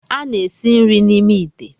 A na-esi nri n'ime ite.